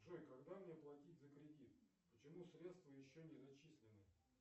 джой когда мне платить за кредит почему средства еще не зачислены